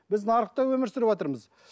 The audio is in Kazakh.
біз нарықта өмір сүріватырмыз